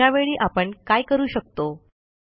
अशावेळी आपण काय करू शकतो